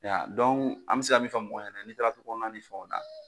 Y'a ye ya an bɛ se ka min fɔ mɔgɔw ɲɛna n'i taara du kɔnɔna ni fɛnw na.